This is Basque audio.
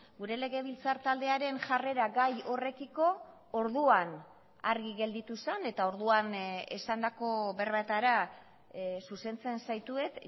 gure legebiltzar taldearen jarrera gai horrekiko orduan argi gelditu zen eta orduan esandako berbetara zuzentzen zaitut